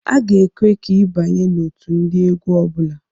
A ga-ekwe ka i abanye n'otu ndị egwu ọbụla.